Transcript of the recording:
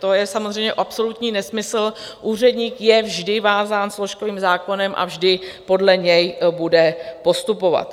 To je samozřejmě absolutní nesmysl, úředník je vždy vázán složkovým zákonem a vždy podle něj bude postupovat.